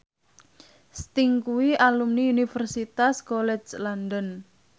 Sting kuwi alumni Universitas College London